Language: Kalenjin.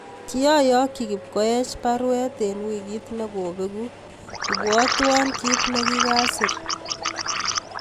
Kioyokyi kipkoech baruet en wikiit negobegu , ibwatwon kit negi kasir